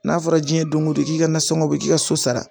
N'a fɔra jiɲɛ don ko don k'i ka nasɔngɔ bɔ k'i ka so sara